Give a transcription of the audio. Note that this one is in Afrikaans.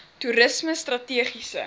toerismestrategiese